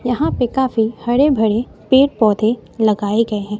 यहां पे काफी हरे भरे पेड़ पौधे लगाए गए हैं।